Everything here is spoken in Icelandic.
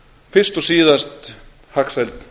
fyrst og síðast hagsæld